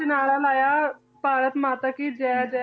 'ਚ ਨਾਅਰਾ ਲਾਇਆ ਭਾਰਤ ਮਾਤਾ ਕੀ ਜੈ ਜੈ